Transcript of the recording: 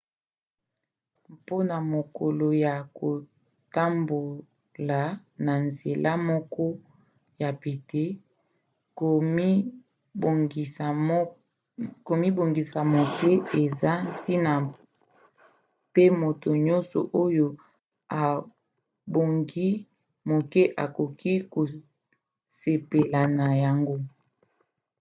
mpona mokolo ya kotambola na nzela moko ya pete komibongisa moke eza ntina pe moto nyonso oyo abongi moke akoki kosepela na yango